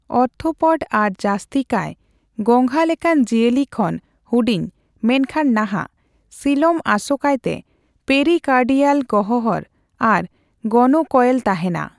Orthopod ᱟᱨ ᱡᱟᱹᱥᱛᱤᱠᱟᱭ ᱜᱚᱸᱜᱷᱟ ᱞᱮᱠᱟᱱ ᱡᱤᱭᱟᱹᱞᱤ ᱠᱷᱚᱱ ᱦᱩᱰᱤᱧ ( ᱢᱮᱱᱠᱷᱟᱱ ᱱᱟᱦᱟᱜ ) ᱥᱤᱞᱚᱢ, ᱟᱥᱚᱠᱟᱭᱛᱮ ᱯᱮᱨᱤᱠᱟᱨᱰᱤᱭᱟᱞ ᱜᱚᱦᱦᱚᱨ ᱟᱨ ᱜᱚᱱᱳᱠᱚᱭᱮᱹᱞ ᱛᱟᱦᱮᱸᱱᱟ ᱾